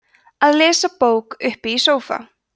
að lesa bók uppi í sófa